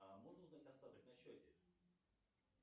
можно узнать остаток на счете